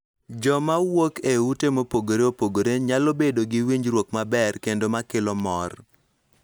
Joma wuok e ute mopogore opogore nyalo bedo gi winjruok maber kendo ma kelo mor.